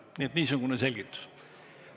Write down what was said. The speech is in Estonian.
Nii et niisugune selgitus.